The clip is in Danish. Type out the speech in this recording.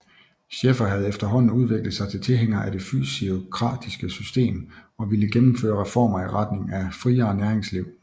Scheffer havde efterhånden udviklet sig til tilhænger af det fysiokratiske system og ville gennemføre reformer i retning af friere næringsliv